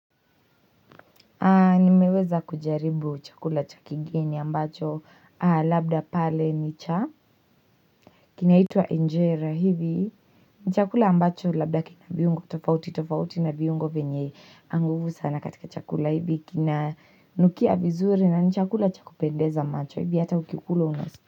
Niweza kujaribu chakula cha kigeni ambacho labda pale ni cha kinaitua enjera hivi ni chakula ambacho labda kina viungo tofauti tofauti na viungo venye nguvu sana katika chakula hivi kinanukia vizuri na ni chakula chakupendeza macho hivi hata hukikula unasikia.